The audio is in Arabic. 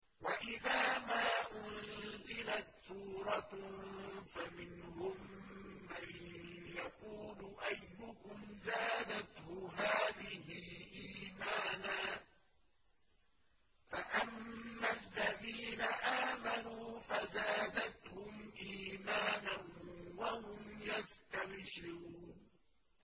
وَإِذَا مَا أُنزِلَتْ سُورَةٌ فَمِنْهُم مَّن يَقُولُ أَيُّكُمْ زَادَتْهُ هَٰذِهِ إِيمَانًا ۚ فَأَمَّا الَّذِينَ آمَنُوا فَزَادَتْهُمْ إِيمَانًا وَهُمْ يَسْتَبْشِرُونَ